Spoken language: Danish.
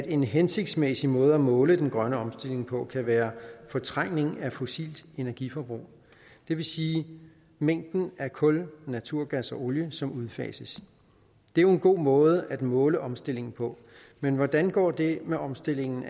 en hensigtsmæssig måde at måle den grønne omstilling på kan være fortrængning af fossilt energi forbrug det vil sige mængden af kul naturgas og olie som udfases det er jo en god måde at måle omstilling på men hvordan går det med omstillingen